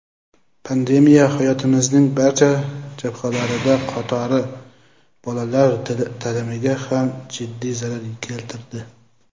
pandemiya hayotimizning barcha jabhalari qatori bolalar ta’limiga ham jiddiy zarar keltirdi.